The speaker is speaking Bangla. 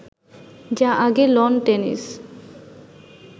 যা আগে লন টেনিস